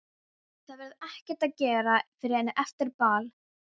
Það verður ekkert að gera fyrr en eftir ball.